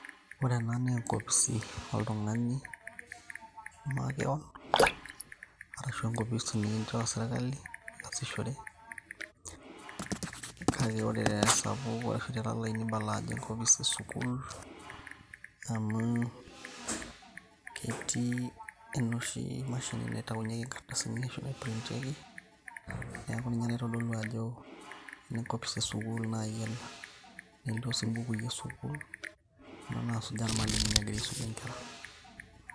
ore ena naa enkopisi oltung'ani makewon arashu enkopisi nikinchoo sirkali piasishore kake ore tesapuk ashu telalai nibala ajo enkopis esukul amu ketii enoshi mashini naitaunyieki inkardasini ashu naiprintieki neeku ninye naitodolu ajo ene enkopis esukul naji ena nelio sii imbukui esukul kuna nasujaa irmalimuni egira aisumie inkera.